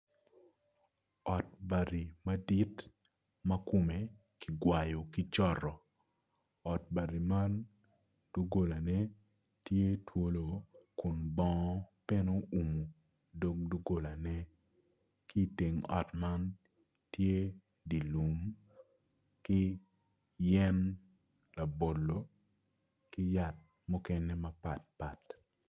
Ot bati madit ma kome kigwayo ki coto ot bati man dogolane tye twolo kun bongo bene oumo dogolane ki i teng ot man tye dye lum ki yen labolo ki yat mukene mapatpat.